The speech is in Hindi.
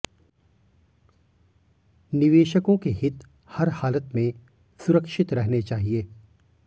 निवेशकों के हित हर हालत में सुरक्षित रहने चाहिए